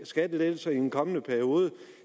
skattelettelser i en kommende periode